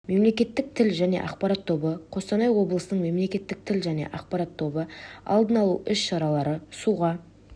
мемлекеттік тіл және ақпарат тобы қостанай облысының мемлекеттік тіл және ақпарат тобы алдын алу іс-шаралары суға